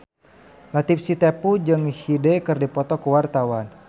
Latief Sitepu jeung Hyde keur dipoto ku wartawan